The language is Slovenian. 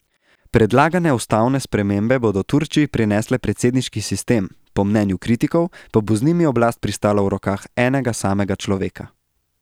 Predlagane ustavne spremembe bodo Turčiji prinesle predsedniški sistem, po mnenju kritikov pa bo z njimi oblast pristala v rokah enega samega človeka.